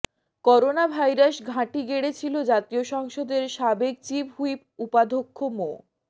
corona virus ঘাঁটি গেড়েছিল জাতীয় সংসদের সাবেক চিফ হুইপ উপাধ্যক্ষ মো